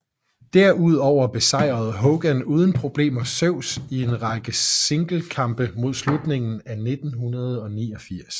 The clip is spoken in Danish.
Derudover besejrede Hogan uden problemer Zeus i en række singlekampe mod slutningen af 1989